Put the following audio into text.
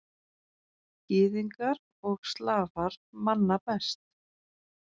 Gyðingar og Slafar manna best.